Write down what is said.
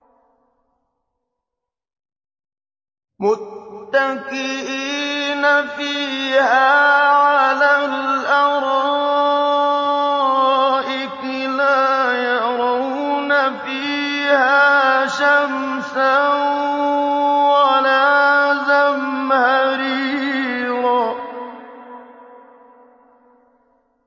مُّتَّكِئِينَ فِيهَا عَلَى الْأَرَائِكِ ۖ لَا يَرَوْنَ فِيهَا شَمْسًا وَلَا زَمْهَرِيرًا